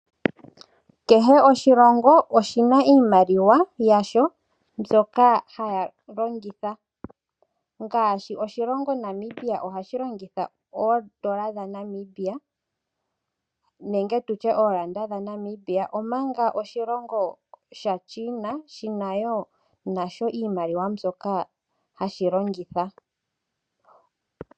Kehe oshilongo oshina iimaliwa yasho mbyoka haya longitha, ngashi oshilongo Namibia ohashi longitha oondola dha Namibia nenge tutye oranda dha Namibia, omanga oshilongo sha China shina woo iimaliwa mbyoka hashi longitha.